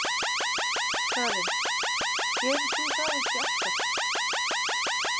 Karen: Gerir þú það ekki alltaf?